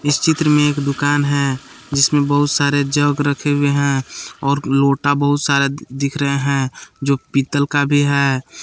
इस चित्र में एक दुकान है जिसमें बहुत सारे जग रखे हुए हैं और लोटा बहुत सारा दिख रहे हैं जो पीतल का भी है।